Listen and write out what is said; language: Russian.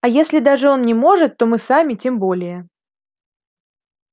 а если даже он не может то мы сами тем более